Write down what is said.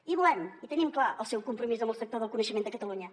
i volem i tenim clar el seu compromís amb el sector del coneixement de catalunya